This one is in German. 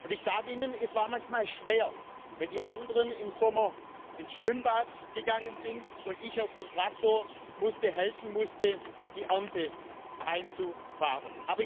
Ich sage Ihnen, es war manchmal schwer, wenn die anderen im Sommer ins Schwimmbad gegangen sind und ich auf den Traktor musste, helfen musste, die Ernte einzufahren.